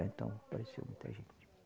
Então apareceu muita gente.